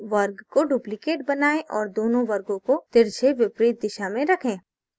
वर्ग का duplicate बनाएँ और दोनों वर्गों को तिरछे विपरीत दिशा में रखें